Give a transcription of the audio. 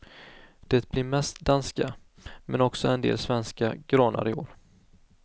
Det blir mest danska, men också en del svenska granar i år.